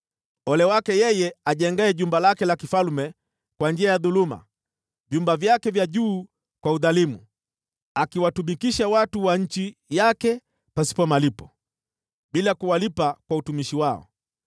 “Ole wake yeye ajengaye jumba lake la kifalme kwa njia ya dhuluma, vyumba vyake vya juu kwa udhalimu, akiwatumikisha watu wa nchi yake pasipo malipo, bila kuwalipa kwa utumishi wao.